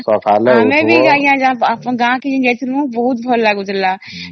ଆମେ ବି ଆଂଜ୍ଞା ଗାଁ କୁ ଯୋଉ ଯାଇଥିଲି ବହୁତ ଭଲ ଲାଗୁଥିଲା